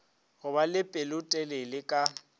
go ba le pelotelele ka